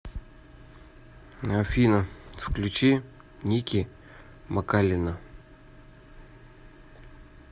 афина включи ники макалина